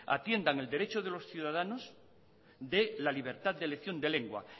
atiendan el derecho de los ciudadanos de la libertad de elección de lengua